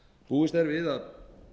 búist er við að